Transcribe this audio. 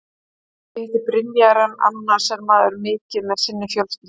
Ég hitti Brynjar en annars er maður mikið með sinni fjölskyldu.